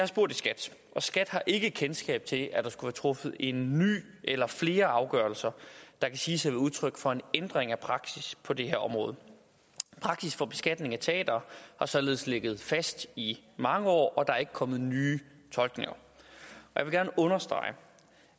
spurgt i skat og skat har ikke kendskab til at der skulle være truffet en ny eller flere afgørelser der kan siges at være udtryk for en ændring af praksis på det her område praksis for beskatningen af teatre har således ligget fast i mange år og der er ikke kommet nye tolkninger jeg vil gerne understrege